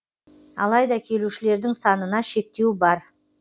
алайда келушілердің санына шектеу бар